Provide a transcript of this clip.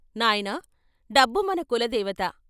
" నాయనా, డబ్బు మన కులదేవత.